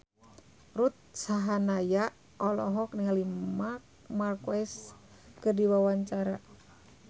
Ruth Sahanaya olohok ningali Marc Marquez keur diwawancara